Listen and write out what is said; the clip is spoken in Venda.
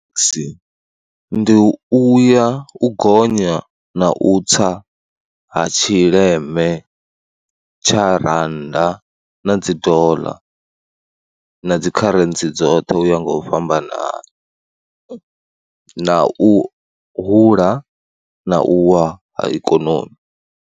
Musi, ndi u ya, u gonya na u tsa ha tshileme tsha randa na dzi doḽa na dzikharentsi dzoṱhe u ya nga u fhambanana na u hula na u wa ha ikonomi.